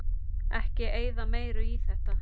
Ekki eyða meiru í þetta